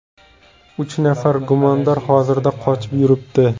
Uch nafar gumondor hozirda qochib yuribdi.